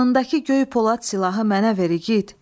Yanındakı göy polad silahı mənə ver igid.